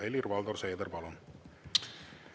Helir-Valdor Seeder, palun!